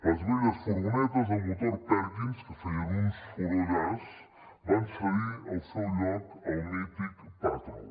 les velles furgonetes de motor perkins que feien un sorollàs van cedir el seu lloc al mític patrol